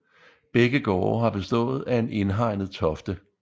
Begge gårde har bestået af en indhegnet tofte